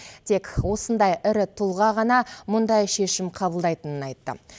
тек осындай ірі тұлға ғана мұндай шешім қабылдайтынын айтты